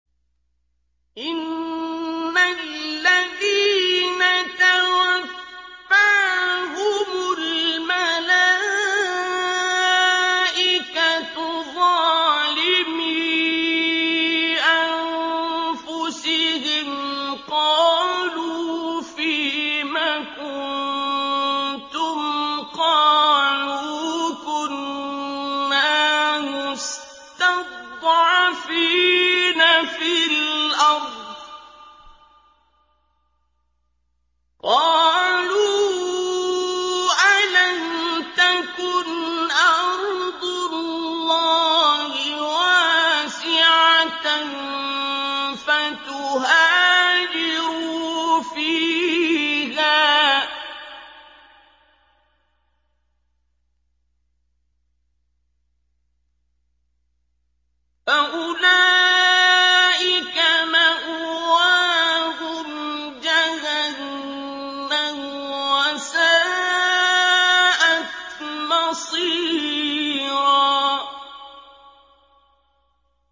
إِنَّ الَّذِينَ تَوَفَّاهُمُ الْمَلَائِكَةُ ظَالِمِي أَنفُسِهِمْ قَالُوا فِيمَ كُنتُمْ ۖ قَالُوا كُنَّا مُسْتَضْعَفِينَ فِي الْأَرْضِ ۚ قَالُوا أَلَمْ تَكُنْ أَرْضُ اللَّهِ وَاسِعَةً فَتُهَاجِرُوا فِيهَا ۚ فَأُولَٰئِكَ مَأْوَاهُمْ جَهَنَّمُ ۖ وَسَاءَتْ مَصِيرًا